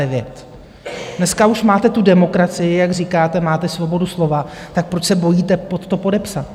Dneska už máte tu demokracii, jak říkáte, máte svobodu slova, tak proč se bojíte pod to podepsat?